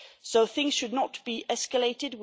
So things should not be escalated